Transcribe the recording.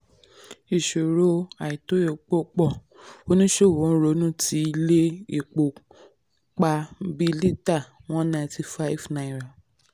ìṣòro àìtó epo pọ̀; oníṣòwò ronú ti ilé epo pa bí pa bí lítà one ninety five naira